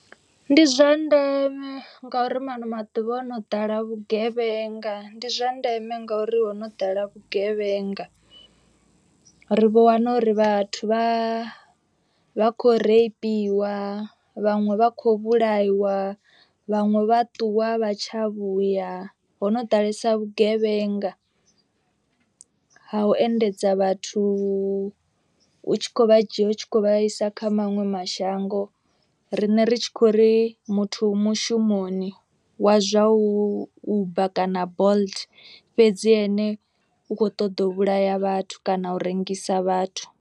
Ndi zwa ndeme nga uri maṅwe maḓuvha o no ḓala vhugevhenga. Ndi zwa ndeme ngori hono ḓala vhugevhenga. Ri vho wana uri vhathu vha vha kho reipiwa vhaṅwe vha khou vhulaiwa. Vhaṅwe vha ṱuwa a vha tsha vhuya ho no ḓalesa vhugevhenga. Ha u endedza vhathu u tshi khou vha dzhia u tshi kho vhaisa kha maṅwe mashango. Riṋe ri tshi khou ri muthu u mushumoni wa zwa u uber kana bolt fhedzi ene u kho ṱoḓa u vhulaya vhathu kana u rengisa vhathu.